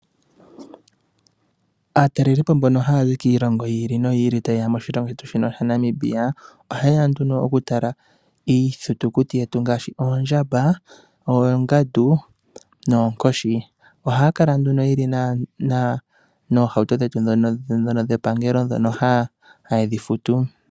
Aatalelipo mbono ha ya zi kiilongo yi ili noyi ili, mbono ha talelepo oshilongo shetu Namibia. Oha ye ya nduno oku tala iithitukuti yetu ngaashi oondjamba, oongandu noonkoshi. Oha ya kala nduno ye li noohauto dhetu ndhoka dhepangelo, ndhono haye dhi futu.